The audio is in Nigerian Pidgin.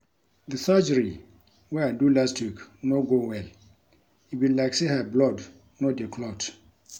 The surgery wey I do last week no go well e be like say her blood no dey clot.